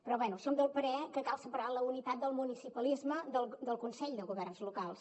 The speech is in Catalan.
però bé som del parer que cal separar la unitat del municipalisme del consell de governs locals